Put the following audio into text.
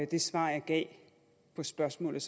det svar jeg gav på spørgsmålet